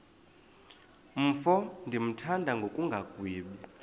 mfo ndimthanda ngokungagwebi